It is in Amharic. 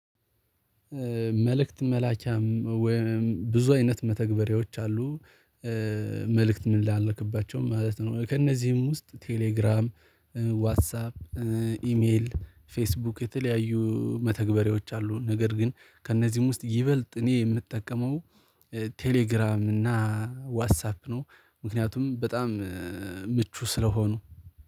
መልእክት መላኪያም ወይም ብዙ አይነት መተግበሪያዎች አሉ መልእክት ምንላላክባቸው ማለት ነው። ከእነዚህም ውስጥ ቴሌግራም ዋትሳፕ ኢሜል ፌስቡክ የተለያዩ መተግበሪያዎች አሉ። ነገር ግን ከእነዚህም ውስጥ ይበልጥ እኔ የምጠቀመው ቴሌግራም እና ዋትሳፕ ነው። ምክንያቱም በጣም ምቹ ስለሆኑ